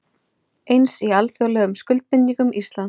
Eins í alþjóðlegum skuldbindingum Íslands